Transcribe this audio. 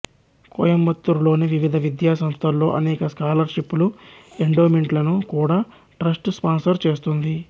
కోయంబత్తూరులోని వివిధ విద్యా సంస్థల్లో అనేక స్కాలర్ షిప్ లు ఎండోమెంట్ లను కూడా ట్రస్ట్ స్పాన్సర్ చేస్తుంది